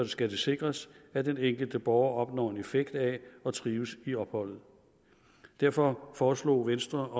skal det sikres at den enkelte borger opnår en effekt af at trives i opholdet derfor foreslog venstre